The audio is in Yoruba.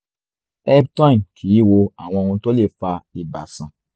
eptoin kìí wo àwọn ohun tó lè fa ibà sàn